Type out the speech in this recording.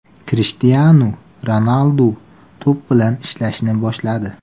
Krishtianu Ronaldu to‘p bilan ishlashni boshladi.